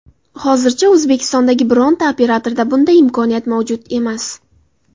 Hozircha O‘zbekistondagi bironta operatorda bunday imkoniyat mavjud emas.